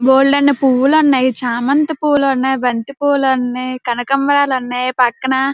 బోల్డని పువ్వులు ఉన్నాయి. చామంతి పూలు ఉన్నాయ్. బంతి పూలు ఉన్నాయ్. కనకాంబరాలు ఉన్నాయ్. పక్కన --